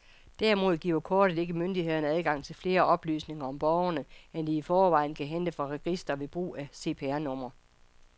Derimod giver kortet ikke myndighederne adgang til flere oplysninger om borgerne, end de i forvejen kan hente fra registre ved brug af CPR-nummer.